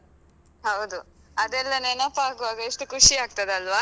ಹೌದು. ಅದೆಲ್ಲ ನೆನಪಾಗುವಾಗ ಎಷ್ಟು ಖುಷಿ ಆಗ್ತದಲ್ವಾ?